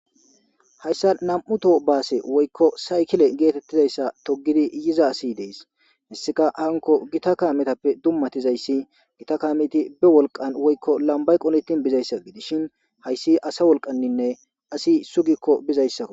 Hayssa nam7uto baase woykko saykile geetettizayssa togidi yiza asi dees hissika hanko gita kaametappe dummatizayssi gita kaamiti be wolqan woykko lambay qoletin bizayssa gidishin hayssi asa wolqaninne asi sugikko bizayssakko.